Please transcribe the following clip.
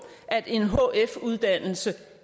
at en hf uddannelse